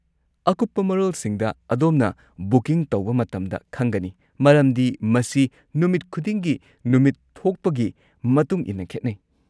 ꯑꯀꯨꯞꯄ ꯃꯔꯣꯜꯁꯤꯡꯗ ꯑꯗꯣꯝꯅ ꯕꯨꯀꯤꯡ ꯇꯧꯕ ꯃꯇꯝꯗ ꯈꯪꯒꯅꯤ, ꯃꯔꯝꯗꯤ ꯃꯁꯤ ꯅꯨꯃꯤꯠ ꯈꯨꯗꯤꯡꯒꯤ ꯅꯨꯃꯤꯠ ꯊꯣꯛꯄꯒꯤ ꯃꯇꯨꯡ ꯏꯟꯅ ꯈꯦꯠꯅꯩ꯫